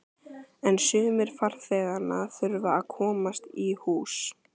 En sumir farþeganna þurfa að komast í hús.